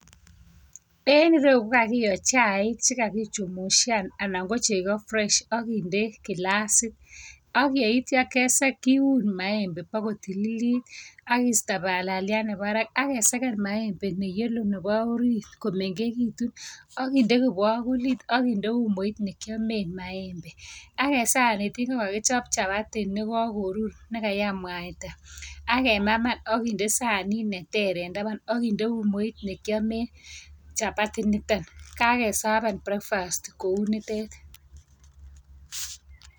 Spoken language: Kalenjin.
En ireyu ko kakiyo chaik che kakichushan ana ko chego fresh ak kinde kilasit ak yeitya kisek, kiun maembe bo kotikilit ak kiisto balalaliat nebo barak ak kesegen maembe ne yellow nebo orit komengegitu ak kinde kibakulit ak kinde umoit nekiamen maembe ak en sanik ingo ko kakichop chapati ne kakorur nekayam mwaita ak kemaman ak kinde sanit neter en taban ak kinde umoit nekiamen chapati inito kakesaben breakfast kuo nitet.